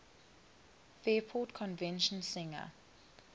fairport convention singer